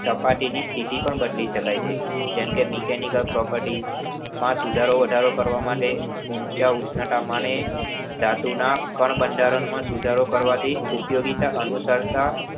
સપાટીની સ્થિતિ પણ બદલી શકાય છે. જેમકે mechanical property માં સુધારો કરવા માટે, ઊંચા ઉષ્ણતામાને ધાતુના કણ બંધારણમાં સુધારો કરવાથી ઉપયોગિતા અનુસાર